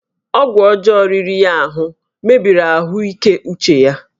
Ọgwụ ọjọọ riri ya ahụ mebiri ahụike uche ya